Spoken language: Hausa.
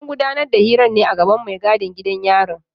An gudanar da hirar ne a gaban mai gadin gidan yari.